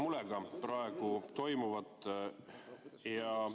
Ma jälgin praegu toimuvat murega.